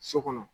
So kɔnɔ